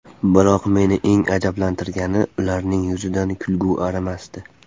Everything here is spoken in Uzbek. Biroq meni eng ajablantirgani ularning yuzidan kulgi arimasdi.